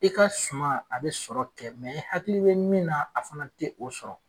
I ka suma a bɛ sɔrɔ kɛ e hakili bɛ min na a fana tɛ o sɔrɔ.